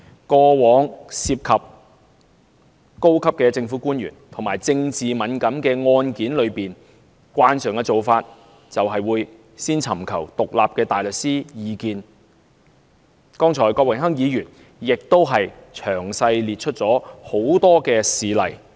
過往涉及高級政府官員和具政治敏感性的案件，慣常做法都是先尋求獨立大律師的意見，剛才郭榮鏗議員已詳細列出多個事例。